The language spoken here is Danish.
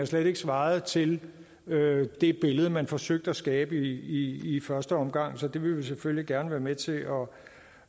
slet ikke svarede til det billede man forsøgte at skabe i første omgang så det vil vi selvfølgelig gerne være med til